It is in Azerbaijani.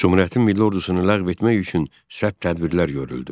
Cümhuriyyətin milli ordusunu ləğv etmək üçün sərt tədbirlər görüldü.